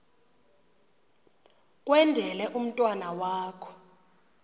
kwendele umntwana wakho